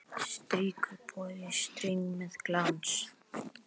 Strýkur bogi streng með glans.